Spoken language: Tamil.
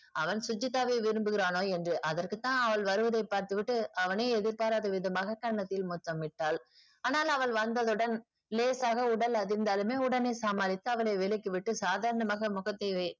அவன் சுஜித்தாவை விரும்புகிறானோ என்று அதற்க்குத்தான் அவள் வருவதை பார்த்துவிட்டு அவனே எதிர்பாராத விதமாக கன்னத்தில் முத்தமிட்டாள் ஆனால் அவள் வந்தவுடன் லேசாக உடல் அதிர்ந்தாளுமே உடனே சமாளித்து அவளை விலக்கிவிட்டு சாதாரணமாக முகத்தை வை